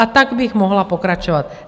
A tak bych mohla pokračovat.